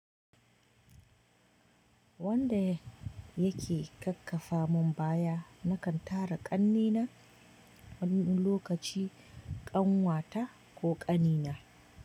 Wanda yake kakkafa mun baya nakan tara ƙanne na wani lokaci ƙanwata ko ƙanina.